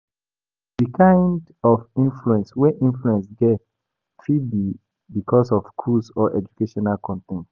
Di kind of influence wey influence get fit be because of cruise or educational con ten t